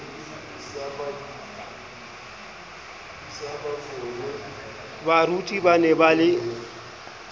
baruti ba ne ba le